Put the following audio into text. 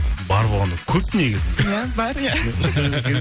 бар болғанда көп негізінде иә бар иә